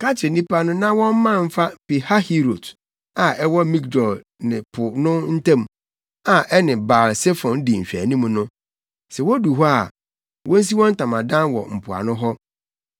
“Ka kyerɛ nnipa no na wɔmman mfa Pihahirot a ɛwɔ Migdol ne po no ntam a ɛne Baal-Sefon di nhwɛanim no. Sɛ wodu hɔ a, wonsi wɔn ntamadan wɔ mpoano hɔ.